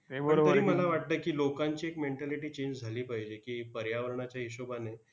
तरी मला वाटतंय की, लोकांची एक mentality change झाली पाहिजे की, पर्यावरणाच्या हिशोबाने